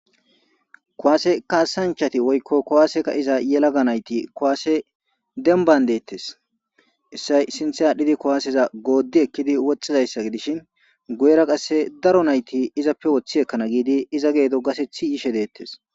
Kowaase kaasanchati woykko kowaaseka iza yelaga nayti kowaase denban deettes essay sinthe aadhdhidi kowaaseza gooddi ekkidi woxxizayssa gi dishin guyera qasse daro nayti izappe woththi ekkana giidi iza geedo gasethi yishe deettes.